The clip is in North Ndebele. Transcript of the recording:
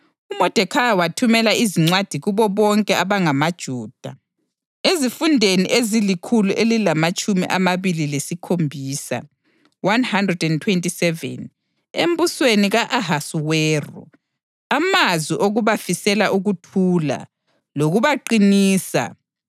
UModekhayi wathumela izincwadi kubo bonke abangamaJuda ezifundeni ezilikhulu elilamatshumi amabili lesikhombisa (127) embusweni ka-Ahasuweru, amazwi okubafisela ukuthula lokubaqinisa,